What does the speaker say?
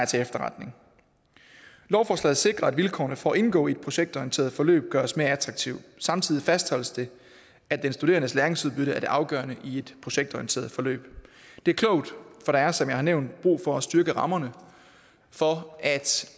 til efterretning lovforslaget sikrer at vilkårene for at indgå i et projektorienteret forløb gøres mere attraktive samtidig fastholdes det at den studerendes læringsudbytte er det afgørende i et projektorienteret forløb det er klogt for der er som jeg har nævnt brug for at styrke rammerne for at